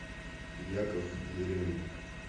яков еремин